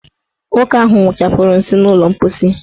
Nwoke ahụ wụchapụrụ nsị n' ụlọ mposi.